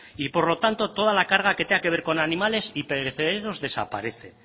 y por lo tanto toda la carga que tenga que ver con animales y perecederos desaparece